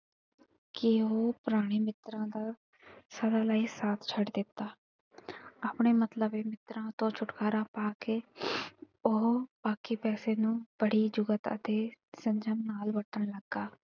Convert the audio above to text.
ਕਿ ਉਹ ਪੁਰਾਣੇ ਮਿੱਤਰਾ ਦਾ ਸਦਾ ਲਈ ਸਾਥ ਛੱਡ ਦਿੱਤਾ। ਆਪਣੇ ਮਤਲਬੀ ਮਿੱਤਰਾ ਤੋਂ ਛੁਟਕਾਰਾ ਪਾ ਕੇ ਉਹ ਬਾਕੀ ਪੈਸੇ ਨੂੰ ਬੜੀ ਯੁਕਤ ਅਤੇ ਸੰਜਮ ਨਾਲ ਵਰਤਣ ਲੱਗਾ।